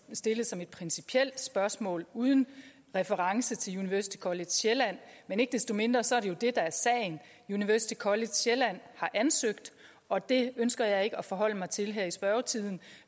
stillet som et principielt spørgsmål uden reference til university college sjælland men ikke desto mindre så er det jo det der er sagen university college sjælland har ansøgt og det ønsker jeg ikke at forholde mig til her i spørgetiden